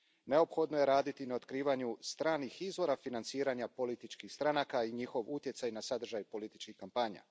Neophodno je raditi na otkrivanju stranih izvora financiranja političkih stranaka i njihov utjecaj na sadržaj političkih kampanja.